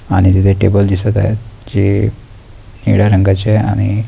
आणि तिथे टेबल दिसत आहे जे निळ्या रंगाचे आणि--